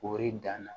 K'ori dan na